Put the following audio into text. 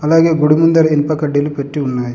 అలాగే గుడి ముందర ఇనుప కడ్డీలు పెట్టి ఉన్నాయ్.